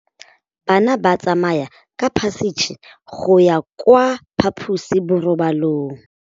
Bana ba tsamaya ka phašitshe go ya kwa phaposiborobalong.